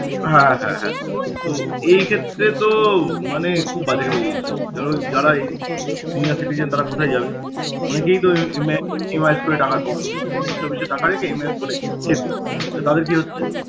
আহ হ্যাঁ হ্যাঁ। তো এইক্ষেত্রে তো মানে খুব বাজে যারা এই senior citizen তারা কোথায় যাবে? অনেকেই তো এম~ এম~ এমাই~ করে~ post office এ টাকা রেখে MIS করে খেত, তাদের কি হচ্ছে